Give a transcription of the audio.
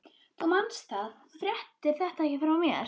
Þú manst það, að þú fréttir þetta ekki frá mér.